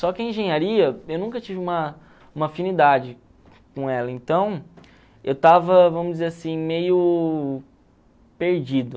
Só que a engenharia, eu nunca tive uma uma afinidade com ela, então eu estava, vamos dizer assim, meio perdido.